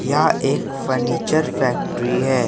यहां एक furniture factory है।